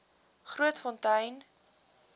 grootfontein